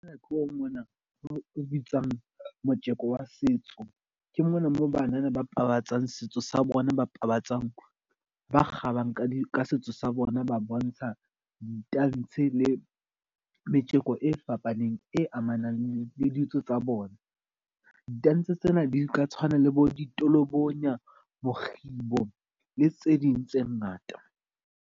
Ke tlo mona o bitswang motjeko wa setso, ke mona mo banana ba pabatsang setso sa bona ba pabatsang ba kgabang ka setso sa bona. Ba bontsha di tantshe le metjeko e fapaneng e amanang le ditso tsa bona. Di tantshe tsena di ka tshwana le bo ditolobonya, mokgibo le tse ding tse ngata.